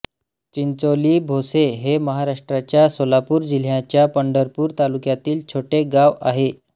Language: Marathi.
चिंचोली भोसे हे महाराष्ट्राच्या सोलापूर जिल्ह्याच्या पंढरपूर तालुक्यातील छोटे गाव आहे